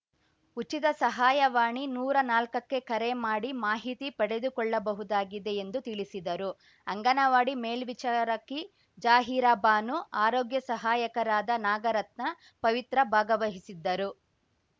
ಉಚಿತ ಸಹಾಯವಾಣಿ ನೂರಾ ನಾಲ್ಕಕ್ಕೆ ಕರೆ ಮಾಡಿ ಮಾಹಿತಿ ಪಡೆದುಕೊಳ್ಳಬಹುದಾಗಿದೆ ಎಂದು ತಿಳಿಸಿದರು ಅಂಗನವಾಡಿ ಮೇಲ್ಚಿಚಾರಕಿ ಜಾಹೀರಾ ಬಾನು ಆರೋಗ್ಯ ಸಹಾಯಕರಾದ ನಾಗರತ್ನ ಪವಿತ್ರ ಭಾಗವಹಿಸಿದ್ದರು